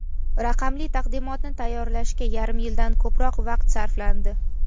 Raqamli taqdimotni tayyorlashga yarim yildan ko‘proq vaqt sarflandi.